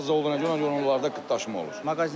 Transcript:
Az olduğuna görə onlarda qıtlaşma olur.